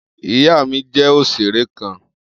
Iya mi jẹ oṣere kan.